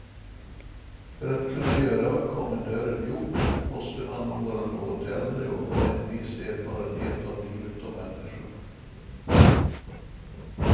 För att kunna göra vad kommendören gjort, måste man nog vara något äldre och ha en viss erfarenhet av livet och människorna.